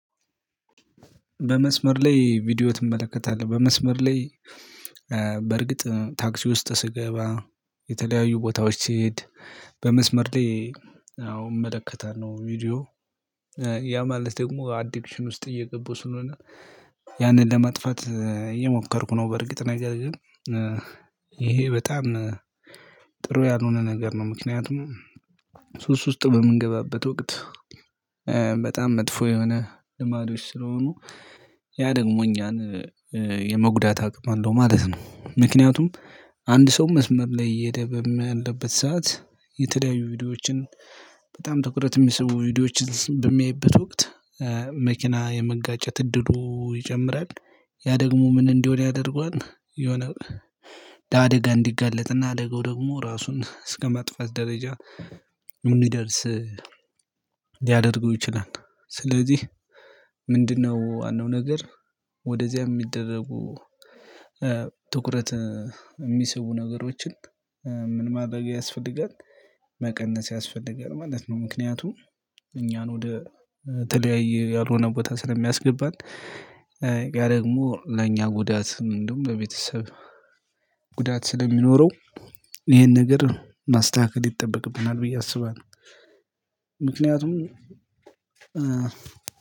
በመስመር ላይ ቪዲዮ ትመለከታለህ? በመስመር ላይ በርግጥ ታክሲ ውስጥ ስገባ የተለያዩ ቦታዎች ስሄድ በመስመር ላይ አዎ እመለከታለሁ ቪዲዮ። ያ ማለት ደግሞ አዲክሽን ውስጥ እየገባው ስለሆነ ያንን ለመጥፋት እየሞከርኩ ነው። በርግጥ ነገር ግን ይሄ በጣም ጥሩ ያልሆነ ነገር ነው። ምክንያቱም ሱስ ውስጥ በምንገባበት ወቅት በጣም መጥፎ የሆነ ልማዶች ስለሆኑ ያ ደግሞ እኛን የመጉዳት አቅም አለው ማለት ነው። ምክንያቱም አንድ ሰው መስመር ላይ እየሄደ በምያለበት ሰዓት የተለያዩ ቪዲዮዎችን በጣም ትኩረት የሚሰቡ ቪዲዮዎችን በሚያይበት ወቅት መኪና የመጋጨት እድሉ ይጨምራል። ያ ደግሞ ምን እንዲሆን ያደርገዋል የሆነ ለአደጋ እንዲጋለጥና አደጋው ደግሞ ራሱን እስከመጥፋት ደረጃ እንዲደርስ ሊያደርገው ይችላል። ስለዚህ ምንድነው ዋናው ነገር? ወደዚያ የሚደረጉ ትኩረት የሚሰቡ ነገሮችን ምን ማድረግ ያስፈልጋል መቀነስ ያስፈልጋል ማለት ነው። ምክንያቱም እኛን ወደ ተለያዩ ያልሆነ ቦታ ስለሚያስገባን። ያ ደግሞ ለእኛ ጉዳት እንደውም በቤተሰብ ጉዳት ስለሚኖረው ይሄን ነገር ማስተካከል ይጠበቅብናል ብዬ አስባለሁ። ምክንያቱም